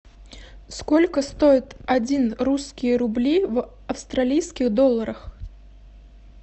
сколько стоит один русские рубли в австралийских долларах